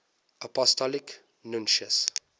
apostolic nuncios